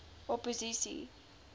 opposisie